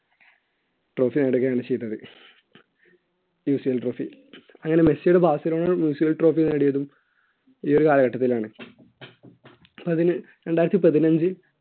trophy നേടുകയാണ് ചെയ്തത് UCLtrophy. അങ്ങനെ മെസ്സിയുടെ ബാസിലോണയും UCLtrophy നേടിയതും ഈയൊരു കാലഘട്ടത്തിലാണ് അതിന് രണ്ടായിരത്തി പതിനഞ്ച്